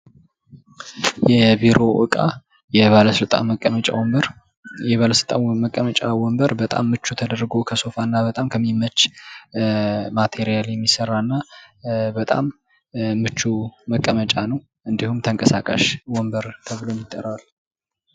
የቢሮ ዕቃ የባለ ስልጣን መቀመጫ ወንበር የባለስልጣን መቀመጫ ወንበር በጣም ምቹ ተደርጎ ከሶፋና እና በጣም ከሚመች ማቴሪያል የሚሰራና በጣም ምቹ መቀመጫ ነው እንዲሁም ተንቀሳቃሽ ወንበር ተብሎም ይጠራ::